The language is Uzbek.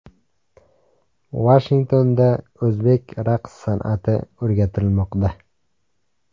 Vashingtonda o‘zbek raqs san’ati o‘rgatilmoqda.